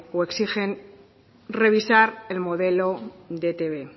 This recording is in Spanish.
o exigen revisar el modelo de etb